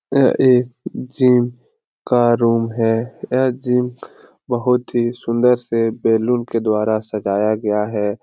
यह एक जिम का रूम है यह जिम बहुत ही सुन्दर से बैलून के द्वारा साजाया गया है।